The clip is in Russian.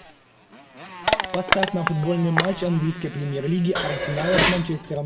поставь нам футбольный матч английской премьер лиги арсенала с манчестером